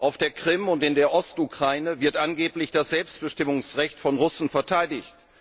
Auf der Krim und in der Ost Ukraine wird angeblich das Selbstbestimmungsrecht von Russen verteidigt